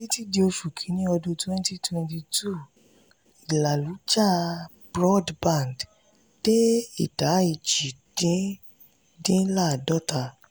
títí dí oṣù kìíní ọdún twenty twenty two ìlàlújá broadband dé idà èjì dín dín ladota.